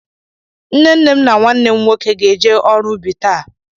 Nne nne m na nwannem nwoke ga-eje ọrụ ubi taa.